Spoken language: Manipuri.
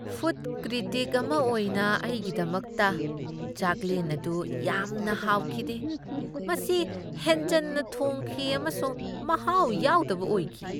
ꯐꯨꯗ ꯀ꯭ꯔꯤꯇꯤꯛ ꯑꯃ ꯑꯣꯏꯅ ꯑꯩꯒꯤꯗꯃꯛꯇ, ꯆꯥꯛꯂꯦꯟ ꯑꯗꯨ ꯌꯥꯝꯅ ꯍꯥꯎꯈꯤꯗꯦ ꯫ ꯃꯁꯤ ꯍꯦꯟꯖꯟꯅ ꯊꯣꯡꯈꯤ ꯑꯃꯁꯨꯡ ꯃꯍꯥꯎ ꯌꯥꯎꯗꯕ ꯑꯣꯏꯈꯤ ꯫